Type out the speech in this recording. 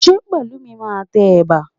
Ṣé Pẹ̀lúmi máa tẹ ẹ̀bà?